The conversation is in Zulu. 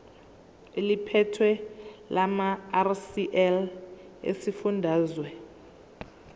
eliphethe lamarcl esifundazwe